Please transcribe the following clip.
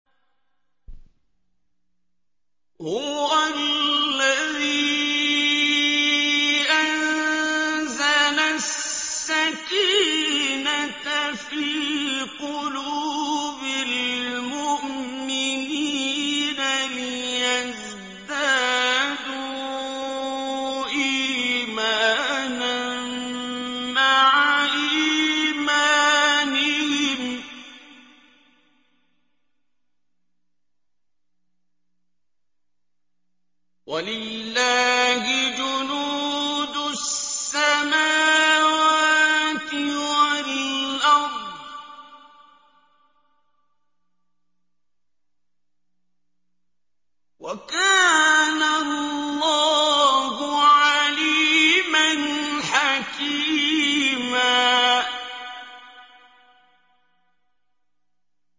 هُوَ الَّذِي أَنزَلَ السَّكِينَةَ فِي قُلُوبِ الْمُؤْمِنِينَ لِيَزْدَادُوا إِيمَانًا مَّعَ إِيمَانِهِمْ ۗ وَلِلَّهِ جُنُودُ السَّمَاوَاتِ وَالْأَرْضِ ۚ وَكَانَ اللَّهُ عَلِيمًا حَكِيمًا